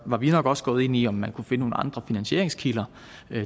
var vi nok også gået ind i om man kunne finde nogle andre finansieringskilder